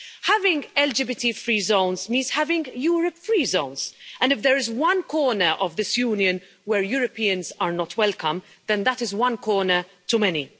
Having LGBT free zones means having Europe free zones and if there is one corner of this Union where Europeans are not welcome, then that is one corner too many.